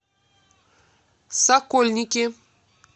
сокольники